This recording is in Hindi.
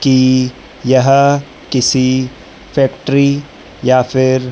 कि यह किसी फैक्ट्री या फिर--